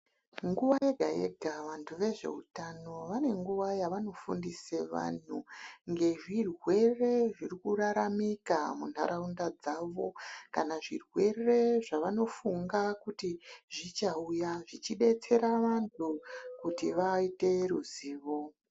Nguwa yega yega vantu vezvehutano vane nguwa yavanofundisa vanhu nezvirwere zviri kuraramika munharaunda zvavo kana zvirwere zvavanofunga kuti Zvichauya zvichidetsera vantu kuti zviite ruzivo.